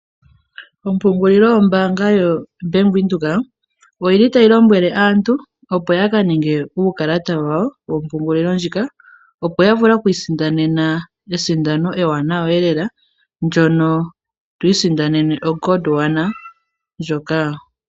Ompungulilo yombaanga yoBank Windhoek oyi li tayi lombwele aantu opo ya ka ninge uukalata wawo wompungulilo ndjika, opo ya vule okwiisindanena esindano ewanawalela ndono to isindanene oGodwana ndjoka.